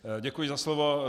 Děkuji za slovo.